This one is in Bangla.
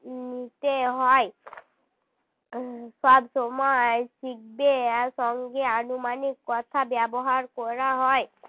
নিতে হয় সবসময় শিখবে আর সঙ্গে আনুমানিক কথা ব্যবহার করা হয়